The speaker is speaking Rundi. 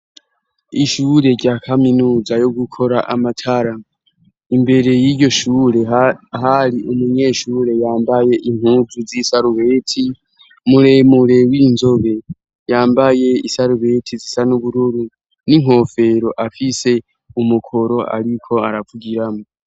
Ishure rya kaminuza yo gukora amatara, imbere y'iryo shure hari umunyeshure yambaye impuzu z'isarubeti muremure w'inzobe yambaye isarubeti zisa n'ubururu n'inkofero afise umukoro, ariko aravugiramwo.